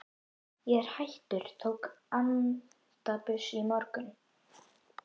Ég er hættur, tók antabus í morgun.